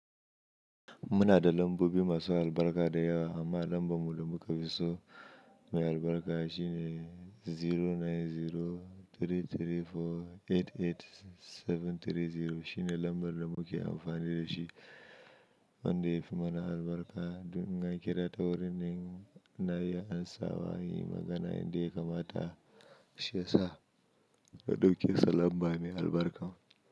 Muna da lambobi masu albarka da yawa amma lambar mu da muka fi so mai albarka shine zero nine zero three three four eight eight seven three zero shine lambar da muke amfani da shi. Wanda yafi mana albarka. Dun inna kira ta wurin nema na iya ansa wa inyi magana yadda ya kamata shiyasa na ɗauke sa lamba mai albarka.